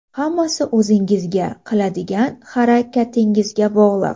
Hammasi o‘zingizga, qiladigan harakatingizga bog‘liq.